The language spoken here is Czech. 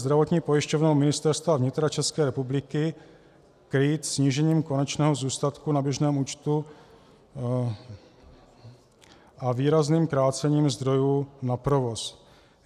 Zdravotní pojišťovna Ministerstva vnitra České republiky krýt snížením konečného zůstatku na běžném účtu a výrazným krácením zdrojů na provoz.